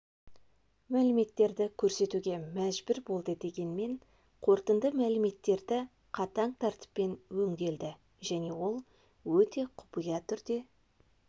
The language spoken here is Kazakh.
мәліметтерді көрсетуге мәжбүр болды дегенмен қорытынды мәліметтері қатаң тәртіппен өңделді және ол өте құпия түрде